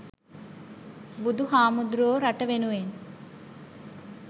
බුදු හාමුදුරුවො රට වෙනුවෙන්